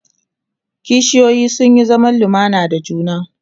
kishiyoyi sun Yi zaman lumana da juna